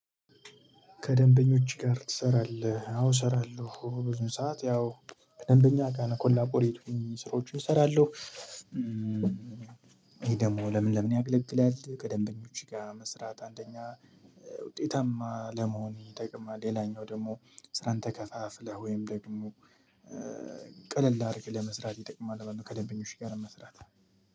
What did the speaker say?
ከደምበኞች ጋር ተሰራለህ? አዎ እሰራለሁ። ብዙ ሰዓት ያው ከደምበኛ ጋር ኮላቦሬት ሆኜ ስራዎችን እሰራለሁ። ይህ ደግሞ ለምን ለምን ያገለግላል፤ ከደምበኞች ጋር መስራት አንደኛ ውጤታማ ለመሆን ይጠቅማል። ሌላኛው ደግሞ ስራህን ተከፋፍለህ ወይም ደግሞ ቀለል አርገህ ለመስራት ይጠቅማል ማለት ነው ከደንበኞች ጋር መስራት።